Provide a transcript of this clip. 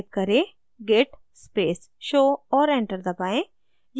type करें: git space show और enter दबाएँ